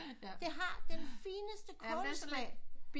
Det har den fineste kålsmag